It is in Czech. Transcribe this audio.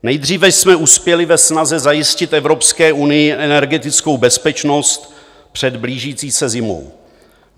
Nejdříve jsme uspěli ve snaze zajistit Evropské unii energetickou bezpečnost před blížící se zimou.